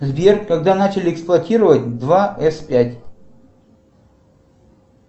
сбер когда начали эксплуатировать два с пять